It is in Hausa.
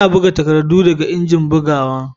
Ana buga takardu daga injin bugawa